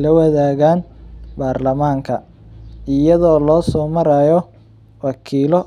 lawadagaan barlamanka ayado loo soo maraayo wakiilo.